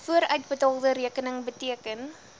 vooruitbetaalde rekening beteken